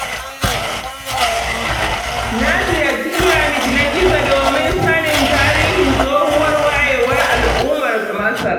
Na ziyarci Pyramid na Giza don sanin tarihin tsohuwar wayewar al'ummar Masar.